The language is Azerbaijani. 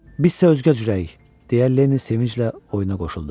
Biz isə özgəcürük, deyə Lenni sevinclə oyuna qoşuldu.